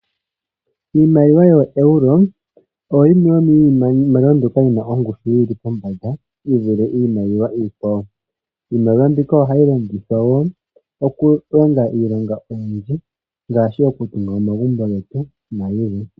Iimaliwa yooEuro oyo yimwe yo miimaliwa mbyoka yi na ongushu yili pombanda yi vule iimaliwa iikwawo, iimaliwa mbika ohayi longithwa wo okulonga iilonga oyindji ngaashi okutunga omagumbo getu nayilwe.